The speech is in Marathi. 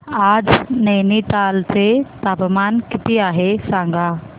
आज नैनीताल चे तापमान किती आहे सांगा